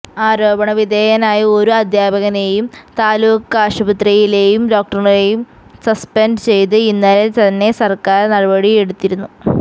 ആരോപണ വിധേയനായ ഒരു അധ്യാപകനേയും താലൂക്കാശുപത്രിയിലേയും ഡോക്ടറേയും സസ്പെന്ഡ് ചെയ്ത് ഇന്നലെ തന്നെ സര്ക്കാര് നടപടിയെടുത്തിരുന്നു